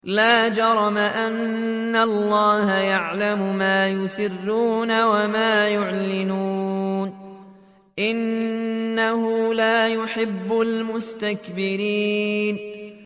لَا جَرَمَ أَنَّ اللَّهَ يَعْلَمُ مَا يُسِرُّونَ وَمَا يُعْلِنُونَ ۚ إِنَّهُ لَا يُحِبُّ الْمُسْتَكْبِرِينَ